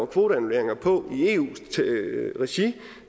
kvoteannulleringer på i eu regi